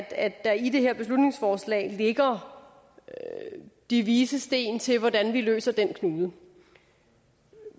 at der i det her beslutningsforslag ligger de vises sten til hvordan vi løser den knude